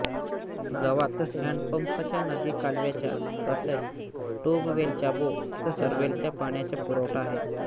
गावात हॅन्डपंपच्या नदी कालव्याच्या तसेच ट्यूबवेलच्याबोअरवेलच्या पाण्याचा पुरवठा आहे